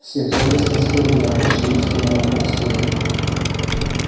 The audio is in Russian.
все взоры с тоской были обращены в сторону фоксвуда